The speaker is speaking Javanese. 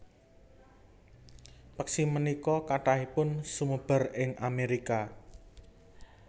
Peksi punika kathahipun sumebar ing Amerika